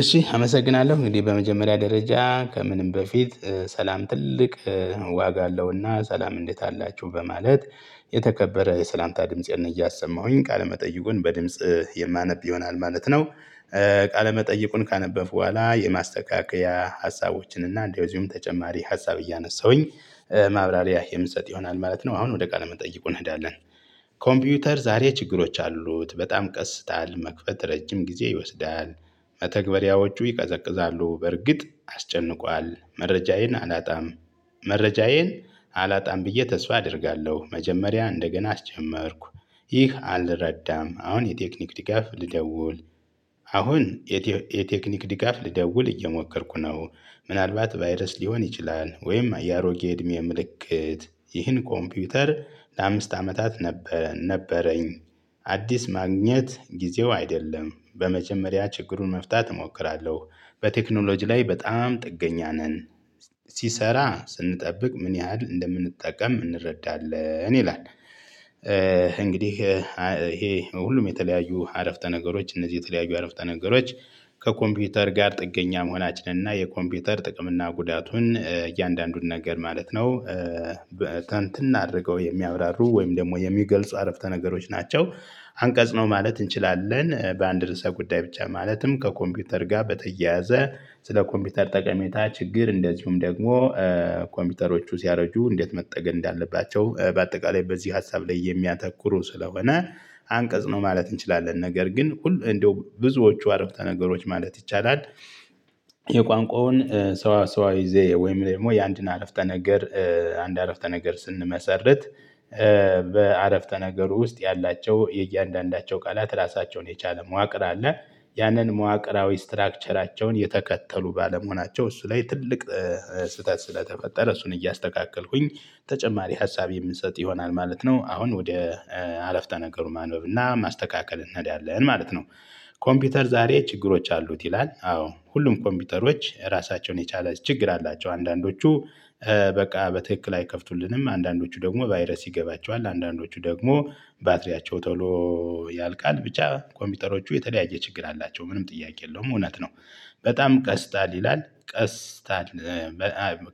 እሺ አመሰግናለሁ እንግዲህ በመጀመሪያ ደረጃ ከምንም በፊት ሰላም ትልቅ ዋጋ አለውና ሰላም እንዴት አላችሁ በማለት የተከበረ የሰላምታ ድምጽን እያሰማሁኝ ቃለመጠይቁን በድምጽ የማነብ ይሆናል ማለት ነው። ቃለመጠየቁን ካነበብኩ በኋላ የማስተካከያ ሀሳቦችን እና እንደዚሁም ተጨማሪ ሀሳብ እያነሳሁኝ ማብራሪያ የምትሰጥ ይሆናል ማለት ነው። አሁን ወደ ቃለ መጠይቁ እንሄዳለን። ኮምፒውተር ዛሬ ችግሮች አሉት በጣም ቀስታል መክፈት ረጅም ጊዜ ይወስዳል። መተግበሪያዎቹ ይቀዘቅዛሉ በርግጥ አስጨንቋል መረጃዬን አላጣም። መረጃዬን አላጣም ብዬ ተስፋ አደርጋለሁ። መጀመሪያ እንደገና አስጀመርኩ ይህ አልረዳም። አሁን የቴክኒክ ድጋፍ ልደውል። አሁን የቴክኒክ ድጋፍ ልደውል እየሞከርኩ ነው። ምናልባት ቫይረስ ሊሆን ይችላል። ወይም የአሮጌ እድሜ ምልክት ይህን ኮምፒውተር ለአምስት አመታት ነበረኝ። አዲስ ማግኘት ጊዜው አይደለም በመጀመሪያ ችግሩን መፍታት እሞክራለሁ። በቴክኖሎጂ ላይ በጣም ጥገኛ ነን። ሲሰራ ስንጠብቅ ምን ያህል እንደምንጠቀም እንረዳለን ይላል። እንግዲህ ይሄ ሁሉም የተለያዩ አረፍተ ነገሮች እነዚህ የተለያዩ አረፍተ ነገሮች። ከኮምፒውተር ጋር ጥገኛ መሆናችንን እና የኮምፒውተር ጥቅም እና ጉዳቱን እያንዳንዱን ነገር ማለት ነው። ብትንትን አድርገው የሚያብራሩ ወይም ደግሞ የሚገልጹ አረፍተ ነገሮች ናቸው። አንቀጽ ነው ማለት እንችላለን በአንድ ርዕሰ ጉዳይ ብቻ ማለትም ከኮምፒውተር ጋር በተያያዘ። ስለ ኮምፒውተር ጠቀሜታ ችግር እንደዚሁም ደግሞ ኮምፒውተሮቹ ሲያረጁ እንዴት መጠገን እንዳለባቸው በአጠቃላይ በዚህ ሀሳብ ላይ የሚያተኩሩ ስለሆነ። አንቀጽ ነው ማለት እንችላለን። ነገር ግን እንደው ብዙዎቹ አረፍተ ነገሮች ማለት ይቻላል። የቋንቋውን ሰዋሰዊ ዘዬ ወይም ደግሞ የአንድን አረፍተ ነገር አንድ አረፍተ ነገር ስንመሰርት። በአረፍተ ነገሩ ውስጥ ያላቸው የእያንዳንዳቸው ቃላት ራሳቸውን የቻለ መዋቅር አለ። ያንን መዋቅራዊ እስትራክቸራቸውን የተከተሉ ባለመሆናቸው እሱ ላይ ትልቅ ስህተት ስለተፈጠረ እሱን እያስተካከልኩኝ ተጨማሪ ሀሳቤ የምንሰጥ ይሆናል ማለት ነው። አሁን ወደ አለፍተ ነገሩ ማንበብ እና ማስተካከል እንሄዳለን ማለት ነው። ኮምፒውተር ዛሬ ችግሮች አሉት ይላል አዎ ሁሉም ኮምፒውተሮች ራሳቸውን የቻለ ችግር አላቸው። አንዳንዶቹ በቃ በትክክል አይከፍቱልንም። አንዳንዶቹ ደግሞ ቫይረስ ይገባቸዋል። አንዳንዶቹ ደግሞ ባትሪያቸው ቶሎ ያልቃል ብቻ ኮምፒውተሮቹ የተለያየ ችግር አላቸው። ምንም ጥያቄ የለውም እውነት ነው። በጣም ቀስታል ይላል ቀስታል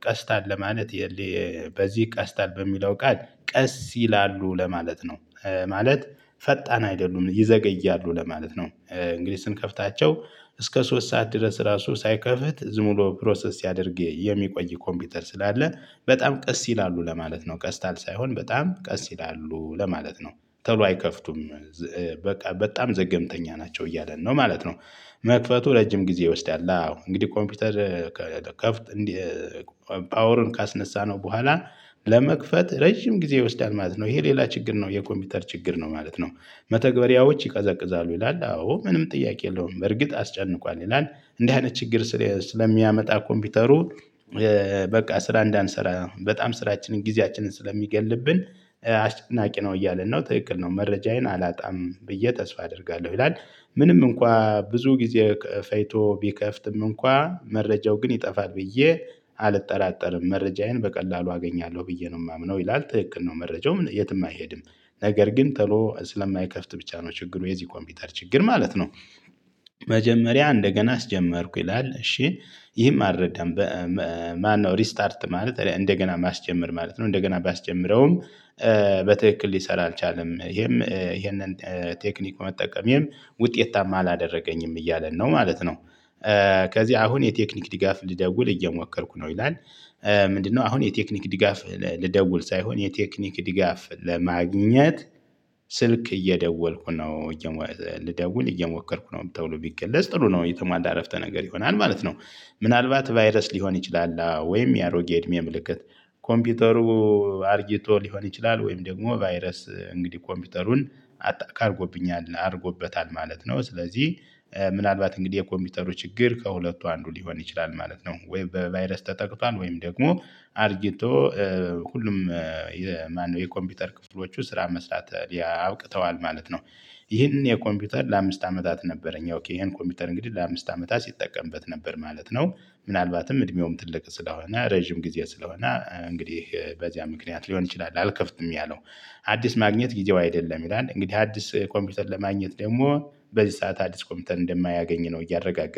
ቀስታል ለማለት በዚህ ቀስታል በሚለው ቃል ቀስ ይላሉ ለማለት ነው። ማለት ፈጣን አይደሉም ይዘገያሉ ለማለት ነው። እንግዲህ ስንከፍታቸው እስከ ሶስት ሰዓት ድረስ ራሱ ሳይከፍት ዝም ብሎ ፕሮሰስ ሲያደርግ የሚቆይ ኮምፒውተር ስላለ በጣም ቀስ ይላሉ ለማለት ነው። ቀስታል ሳይሆን በጣም ቀስ ይላሉ ለማለት ነው። ቶሎ አይከፍቱም። በቃ በጣም ዘገምተኛ ናቸው እያለን ነው ማለት ነው። መክፈቱ ረጅም ጊዜ ይወስዳል አዎ እንግዲህ ኮምፒውተር ከፍት ፓወርን ካስነሳነው በኋላ ለመክፈት ረጅም ጊዜ ይወስዳል ማለት ነው። ይሄ ሌላ ችግር ነው የኮምፒውተር ችግር ነው ማለት ነው። መተግበሪያዎች ይቀዘቅዛሉ ይላል አዎ ምንም ጥያቄ የለውም በርግጥ አስጨንቋል ይላል። እንዲህ አይነት ችግር ስለሚያመጣ ኮምፒውተሩ በቃ ስራ እንዳንሰራ በጣም ስራችንን ጊዜያችንን ስለሚገልብን አስጨናቂ ነው እያለን ነው ትክክል ነው መረጃዬን አላጣም ብዬ ተስፋ አደርጋለሁ ይላል። ምንም እንኳን ብዙ ጊዜ ፈጅቶ ቢከፍትም እንኳን መረጃው ግን ይጠፋል ብዬ አልጠራጠርም። መረጃዬን በቀላሉ አገኛለሁ ብዬ ነው የማምነው ይላል። ትክክል ነው መረጃው የትም አይሄድም። ነገር ግን ተሎ ስለማይከፍት ብቻ ነው ችግሩ የዚህ ኮምፒውተር ችግር ማለት ነው። መጀመሪያ እንደገና አስጀመርኩ ይላል እሺ ይህም አልረዳም። ማነው? ሪስታርት ማለት እንደገና ማስጀመር ማለት ነው እንደገና ባስጀምረውም በትክክል ሊሰራ አልቻለም ይሄም ይሄንን ቴክኒክ መጠቀሜም ውጤታማ አላደረገኝም እያለን ነው ማለት ነው። ከዚያ አሁን የቴክኒክ ድጋፍ ልደውል እየሞከርኩ ነው ይላል። ምንድነው? አሁን የቴክኒክ ድጋፍ ልደውል ሳይሆን የቴክኒክ ድጋፍ ለማግኘት ስልክ እየደወልኩ ነው። ልደውል እየሞከርኩ ነው ተብሎ ቢገለጽ ጥሩ ነው የተሟላ አረፍተ ነገር ይሆናል ማለት ነው። ምናልባት ቫይረስ ሊሆን ይችላል። አዎ ወይም የአሮጌ እድሜ ምልክት ኮምፒውተሩ አርጅቶ ሊሆን ይችላል። ወይም ደግሞ ቫይረስ እንግዲህ ኮምፒውተሩን አታክ አድርጎብኛል አድርጎበታል ማለት ነው። ስለዚህ ምናልባት እንግዲህ የኮምፒውተሩ ችግር ከሁለቱ አንዱ ሊሆን ይችላል ማለት ነው። ወይም በቫይረስ ተጠቅቷል ወይም ደግሞ አርጅቶ ሁሉም የኮምፒውተር ክፍሎቹ ስራ መስራት ያቅተዋል ማለት ነው። ይህንን የኮምፒውተር ለአምስት አመታት ነበረኝ ይሄን ኮምፒውተር እንግዲህ ለአምስት አመታት ሲጠቀምበት ነበር ማለት ነው። ምናልባትም እድሜውም ትልቅ ስለሆነ ረጅም ጊዜ ስለሆነ እንግዲህ በዚያ ምክንያት ሊሆን ይችላል። አልከፍትም ያለው። አዲስ ማግኘት ጊዜው አይደለም ይላል። እንግዲህ አዲስ ኮምፒውተር ለማግኘት ደግሞ በዚህ ሰዓት አዲስ ኮምፕውተር እንደማያገኝ ነው እያረጋገጠ